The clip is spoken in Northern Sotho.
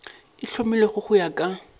e hlomilwego go ya ka